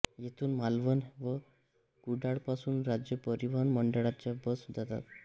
येथून मालवण व कुडाळपासून राज्य परिवहन महामंडळाच्या बस जातात